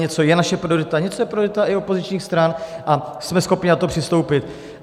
Něco je naše priorita, něco je priorita i opozičních stran a jsme schopni na to přistoupit.